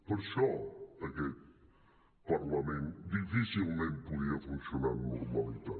per això aquest parlament difícilment podia funcionar amb normalitat